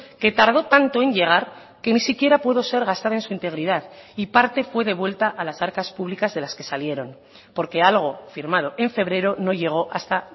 que tardó tanto en llegar que ni siquiera pudo ser gastada en su integridad y parte fue devuelta a las arcas públicas de las que salieron porque algo firmado en febrero no llegó hasta